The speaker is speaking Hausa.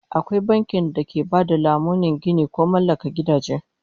Akwai bankin da ke ba da lamunin ginin ko mallakar gidaje